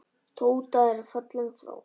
Tóta er fallin frá.